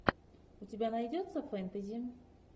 у тебя найдется фэнтези